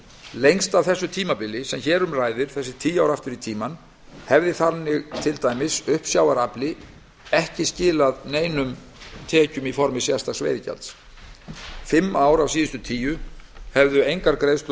lengst af því tímabili sem hér um ræðir þessi tíu ár aftur í tímann hefði þannig til dæmis uppsjávarafli ekki skilað neinum tekjum í formi sérstaks veiðigjalds í fimm ár af síðustu tíu hefðu engar greiðslur